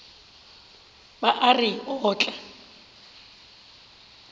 ba a re o tla